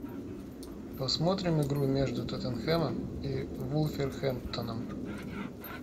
посмотрим игру между тоттенхэмом и вулверхэмптоном